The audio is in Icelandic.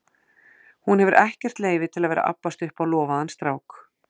Hún hefur ekkert leyfi til að vera að abbast upp á lofaðan strák.